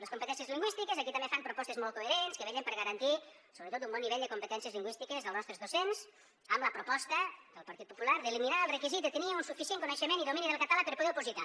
les competències lingüístiques aquí també fan propostes molt coherents que vetllen per garantir sobretot un bon nivell de competències lingüístiques als nostres docents amb la proposta del partit popular d’eliminar el requisit de tenir un suficient coneixement i domini del català per poder opositar